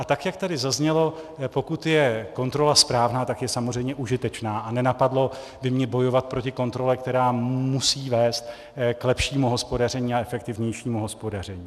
A tak jak tady zaznělo, pokud je kontrola správná, tak je samozřejmě užitečná a nenapadlo by mě bojovat proti kontrole, která musí vést k lepšímu hospodaření a efektivnějšímu hospodaření.